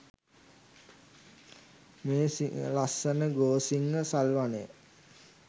මේ ලස්සන ගෝසිංහ සල් වනය